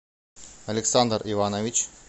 александр иванович